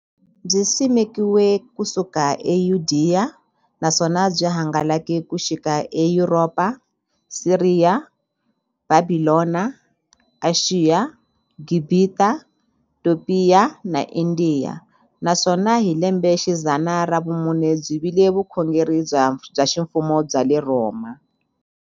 Byisimekiwe ku suka eYudeya, naswona byi hangalake ku xika eYuropa, Siriya, Bhabhilona, Ashiya, Gibhita, Topiya na Indiya, naswona hi lembexidzana ra vumune byi vile vukhongeri bya ximfumo bya le Rhoma.